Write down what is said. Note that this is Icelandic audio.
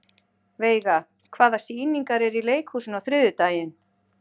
Veiga, hvaða sýningar eru í leikhúsinu á þriðjudaginn?